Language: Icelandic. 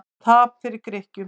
Tap fyrir Grikkjum